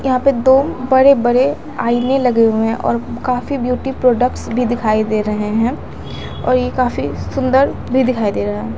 यहां पर दो बड़े बड़े आईने लगे हुए हैं और काफी ब्यूटी प्रोडक्ट्स भी दिखाई दे रहे हैं और ये काफी सुंदर भी दिखाई दे रहा--